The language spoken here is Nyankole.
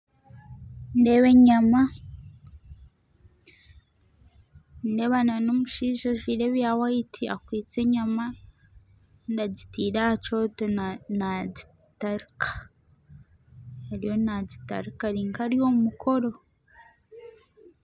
Nindeeba enyama, nindeeba n'omushaija ajwire ebya White akwitse enyama Kandi agitire aha Kyoto nagitarika ariyo nagitarika arinka ari omumukoro.